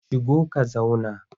Shigo ka zauna!